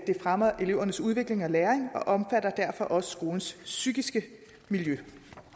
fremmer elevernes udvikling og læring og det omfatter derfor også skolens psykiske miljø